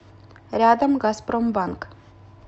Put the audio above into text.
рядом газпромбанк